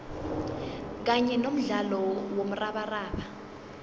kanye nomdlalo womrabaraba